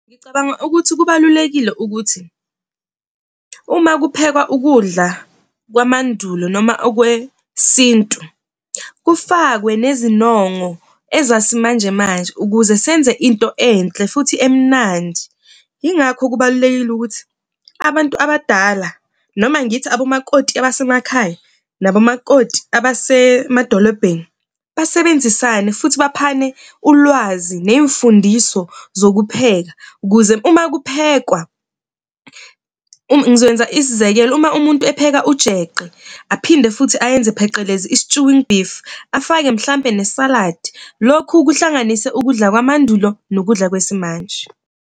Ngicabanga ukuthi kubalulekile ukuthi uma kuphekwa ukudla kwamandulo noma okwesintu kufakwe nezinongo ezasimanjemanje, ukuze senze into enhle futhi emnandi. Yingakho kubalulekile ukuthi abantu abadala noma ngithi abomakoti abasemakhaya nomakoti a abasemadolobheni basebenzisane futhi baphane ulwazi ney'mfundiso zokupheka ukuze uma kuphekwa. Ngizokwenza isizekelo uma umuntu epheka ujeqe aphinde futhi ayenze, phecelezi i-stewing beef afake mhlawumbe nesaladi lokhu kuhlanganise ukudla kwamandulo nokudla kwesimanje.